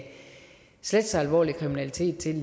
slet så alvorlig kriminalitet til